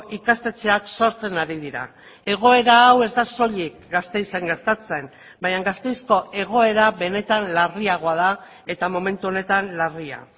ikastetxeak sortzen ari dira egoera hau ez da soilik gasteizen gertatzen baina gasteizko egoera benetan larriagoa da eta momentu honetan larria